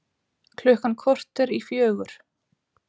Klukkan korter í fjögur